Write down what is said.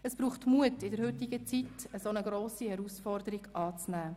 Es braucht Mut, in der heutigen Zeit eine solch grosse Herausforderung anzunehmen.